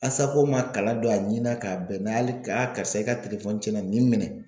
ma kalan don a ɲin na k'a bɛn hali karisa i ka telefɔni tiɲɛna nin minɛ